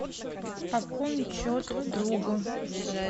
пополнить счет другу